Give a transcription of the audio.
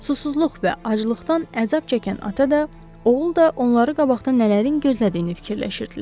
Susuzluq və aclıqdan əzab çəkən ata da, oğul da onları qabaqda nələrin gözlədiyini fikirləşirdilər.